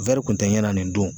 kun tɛ ɲɛna nin don